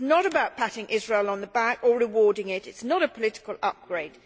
This is not about patting Israel on the back or rewarding it. It is not a political upgrade.